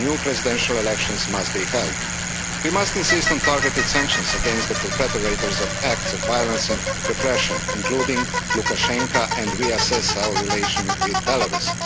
New presidential elections must be held. We must insist on targeted sanctions against the perpetrators of acts of violence and repression, including Lukashenko and reassess our relations with Belarus.